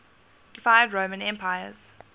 deified roman emperors